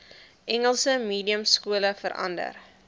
engels mediumskole verander